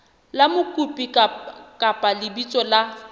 la mokopi kapa lebitso la